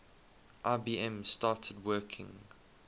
ibm started working